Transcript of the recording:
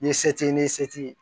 Ni se t'i ye ni se t'i ye